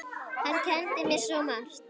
Hann kenndi mér svo margt.